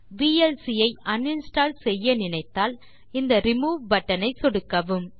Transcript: VLC ஐ uninstall செய்ய நினைத்தால் இந்த ரிமூவ் பட்டன் ஐ சொடுக்கவும்